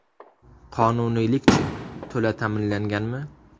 Qonuniylik-chi, to‘la ta’minlanganmi?